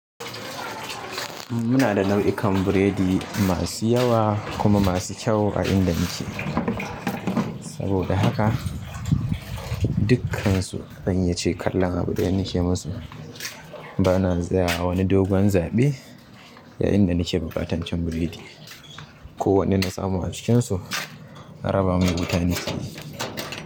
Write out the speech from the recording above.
Muna da nau'ikan biredi masu yawa kuma masu kyau a inda muke. Saboda haka dukkansu zan iya ce kallon abu ɗaya nake musu bana zayawa wani dogon zaɓe yayinda nake buƙatan cin buredi. Ko wanne na samu a cikinsu, a raban mun dukanin.